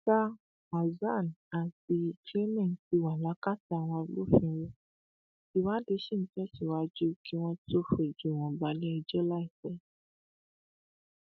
sa hasan àti clement ti wà lákàtà àwọn agbófinró ìwádìí ṣì ń tẹsíwájú kí wọn tóó fojú wọn bale ẹjọ láìpẹ